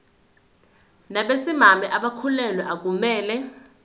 nabesimame abakhulelwe akumele